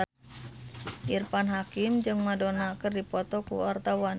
Irfan Hakim jeung Madonna keur dipoto ku wartawan